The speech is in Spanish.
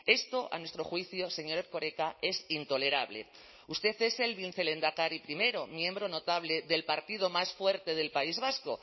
esto a nuestro juicio señor erkoreka es intolerable usted es el vicelehendakari primero miembro notable del partido más fuerte del país vasco